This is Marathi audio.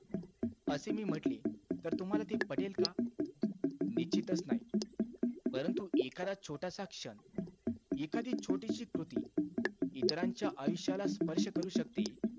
असे मी म्हटले, तर तुम्हाला ते पटेल का? निश्चितचं नाही. परंतु एखादा छोटासा क्षण, एखादी छोटीसी कृती इतरांच्या आयुष्याला स्पर्श करू शकते.